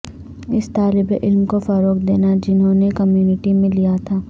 اس طالب علم کو فروغ دینا جنہوں نے کمیونٹی میں لیا تھا